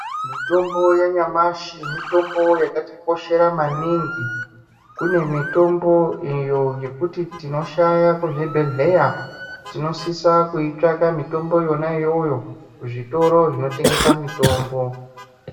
Mitombo yanyamashi mitombo yakatikoshera maningi. Kune mitombo iyo yekuti tinoshaya kuzvibhedhleya tinosisa kuitsvaka mitombo yona iyoyo kuzvitoro zvinotengesa mitombo.